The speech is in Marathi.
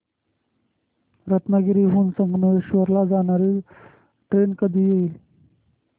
रत्नागिरी हून संगमेश्वर ला जाणारी ट्रेन कधी येईल